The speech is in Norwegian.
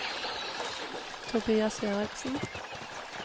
Tobias Eriksen